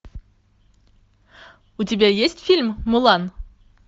у тебя есть фильм мулан